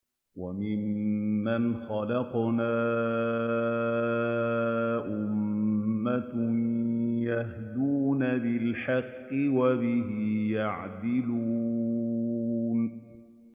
وَمِمَّنْ خَلَقْنَا أُمَّةٌ يَهْدُونَ بِالْحَقِّ وَبِهِ يَعْدِلُونَ